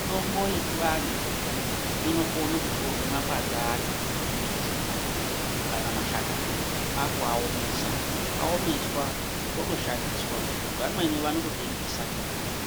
Mitombo yechiantu inokone kutorwe mapande acho emimbiti kana mashakani kwakuaomesa aomeswa otoshandiswa vamweni vanototengesa